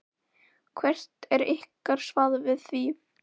Hvert er ykkar svar við því?